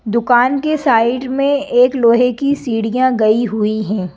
दुकान के साइड में एक लोहे की सीढ़ियां गई हुई हैं।